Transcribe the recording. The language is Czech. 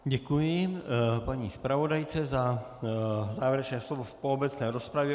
Děkuji paní zpravodajce za závěrečné slovo po obecné rozpravě.